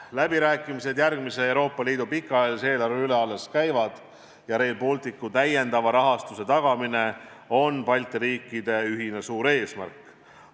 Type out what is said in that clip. Läbirääkimised Euroopa Liidu järgmise pikaajalise eelarve üle alles käivad ja Rail Balticule lisarahastuse tagamine on Balti riikide ühine suur eesmärk.